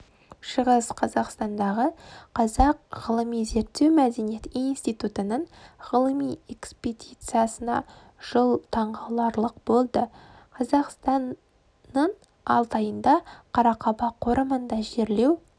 шығыс қазақстандағы қазақ ғылыми-зерттеу мәдениет институтының ғылыми экспедициясына жыл таңғаларлық болды қазақстың алтайында қарақаба қорымындағы жерлеу